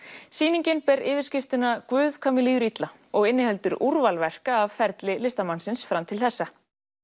sýningin ber yfirskriftina Guð hvað mér líður illa og inniheldur úrval verka af ferli listamannsins fram til þessa